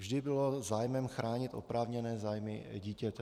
Vždy bylo zájmem chránit oprávněné zájmy dítěte.